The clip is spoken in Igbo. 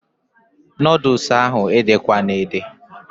Noodules ahụ ede kwana ede!